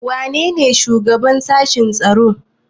Wanene shugaban sashen tsaro?